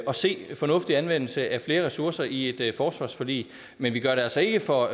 at se en fornuftig anvendelse af flere ressourcer i et forsvarsforlig men vi gør det altså ikke for